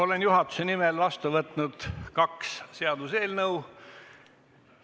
Olen juhatuse nimel vastu võtnud kaks eelnõu.